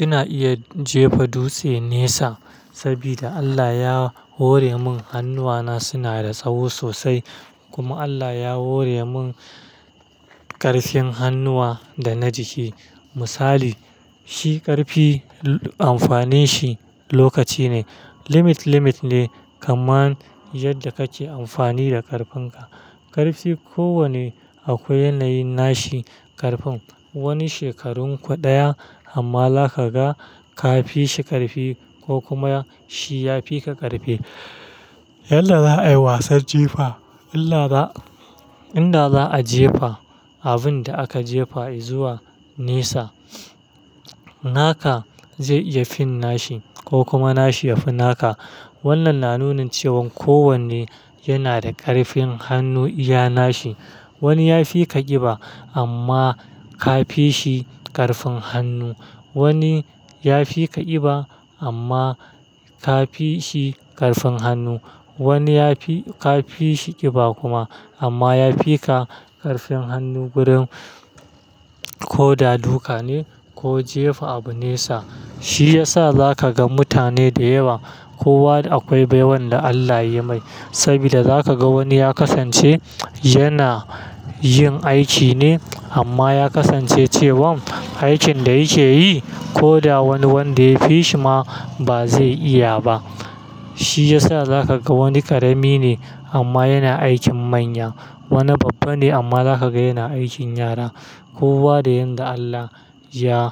Ina iya jefa dutse nesa saboda Allah ya hore min hannuwana suna da tsaho sosai kuma Allah ya hore min ƙarfin hannuwa da na jiki. Misali, shi ƙarfi amfani shi lokaci ne. Limit, limit ne kaman yadda kake amfani da ƙarfin ka. Ƙarfi ko wanne akwai yanayin nashi ƙarfin. Wani shekarun daya amma za ka ga ka fi shi ƙarfi ko kuma shi ya fi ka ƙarfi. Yadda za a yi wasan jefa, in da, in da za a jefa abunda a ka jefa izuwa nesa. Naka zai iya finnashi ko kuma nashi ya finaka. Wannan na nunin cewan ko wanne yana da ƙarfin hannu iya nashi. Wani ya fi ka ƙiba amma ka fi shi ƙarfin hannu. Wani ya fi ka ƙiba amma ka fi shi ƙarfin hannu. Wani ya fi, ka fi shi ƙiba kuma amma ya fi ka ƙarfin hannu gurin ko da duka ne ko jefa abu nesa. Shi yasa zaka ga mutane da yawa kowa akwai baiwan da Allah yai mai. Saboda zaka ga wani ya kasance yana yin aiki ne amma ya kasance cewan aikin da yake yi ko da wani wanda ya fi shi ma ba zai iya ba. Shi yasa za ka ga wani ƙarami ne amma yana aikin manya. Wani babba ne amma za ka ga yana aikin yara. Kowa da yanda Allah ya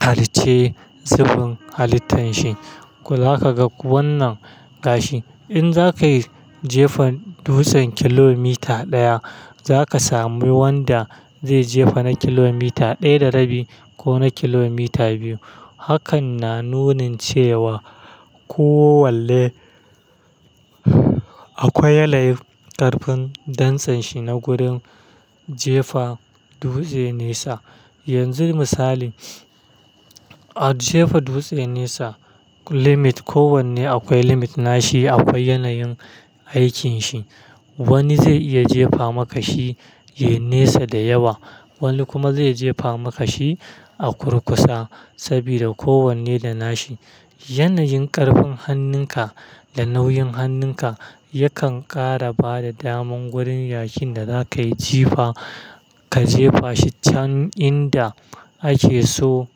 halicce zubin halittan shi. Ko zaka ga wannan gashi. In za ka yi jefa dutsen kilomita ɗaya, za ka sami wanda zai jefa na kilomita ɗaya da rabi ko na kilomita biyu. Hakan na nunin cewa ko wanne akwai yanayin ƙarfin dantsenshi na gurin jefa dutse nesa. Yanzu misali, a jefa dutse nesa limit ko wanne akwai limit nashi, akwai yanayin aikin shi. Wani zai iya jefa maka shi yai nesa da yawa, wani kuma zai jefa maka shi a kurkusa saboda ko wanne da nashi. Yanayin ƙarfin hannun ka da nauyin hannun ka yakan ƙara bada daman gurin yayin da za ka yi jefa. Ka jefa shi can inda ake so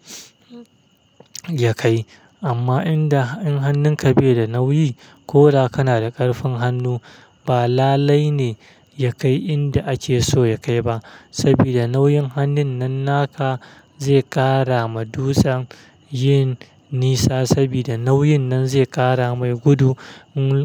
ya kai. Amma inda in hannun ka bai da nauyi ko da kana da ƙarfin hannu ba lalai ne ya kai inda ake so ya kai ba. Saboda nauyin hannun nan naka zai ƙara ma dutsen yin nisa saboda nauyin nan zai ƙara mai gudu.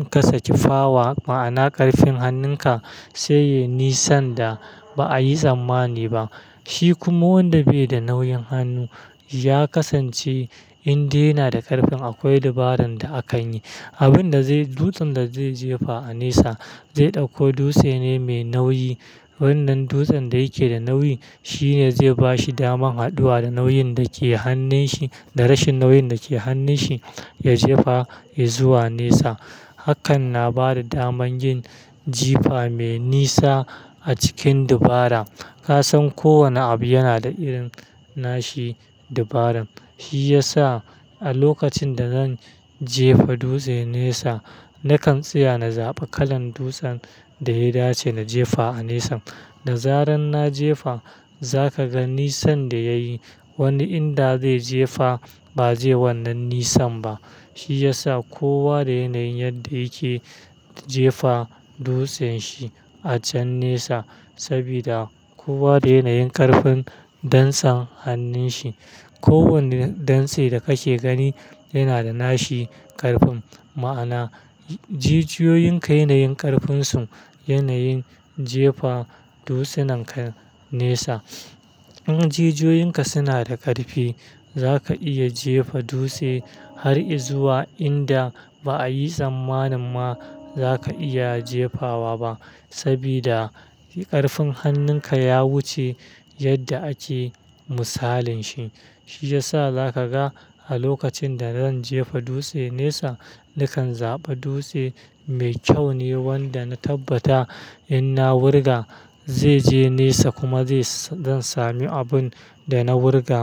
Kasa ki power, ma'ana ƙarfin hannun ka sai ya yi nisan da ba a yi tsammani ba. Shi kuma wanda bai da nauyin hannu ya kasance in dai yana da ƙarfin akwai dabaran da akan yi. Abun da zai, dutsen da zai jefa a nesa zai ɗauko dutse ne mai nauyi. Wannan dutsen da yake da nauyi shine zai ba shi daman haɗuwa da nauyin dake hannun shi, da rashin nauyin dake hannun shi ya jefa izuwa nesa. Hakan na bada daman yin jefa mai nisa a cikin dubara. Ka san kowane abu yana da irin nashi dubarin. Shi yasa a lokacin da zan jefa dutse nesa, nakan tsaya na zaɓa kalan dutsen da ya dace na jefa a nesa. Da zaran na jefa za ka ga nisan da ya yi. Wani inda zai jefa ba zai yi wannan nisan ba. Shi yasa kowa da yanayin yadda yake jefa dutsen shi a can nesa saboda kowa da yanayin ƙarfin dantsen hannun shi. Ko wanne dantse da kake gani yana da nashi ƙarfin. Ma'ana, jijioyinka yanayin ƙarfin su, yanayin jefa dutsenin ka nesa. In jijioyinka suna da ƙarfi za ka iya jefa dutse har izuwa inda ba a yi tsammani ma za ka iya jefawa ba saboda ƙarfin hannun ka ya wuce yadda ake misalin shi. Shi yasa za ka ga a lokacin da zan jefa dutse nesa, nakan zaɓa dutse mai kyau ne wanda na tabbata in na wurga zai je nesa kuma zai, zan sami abun da na wurga.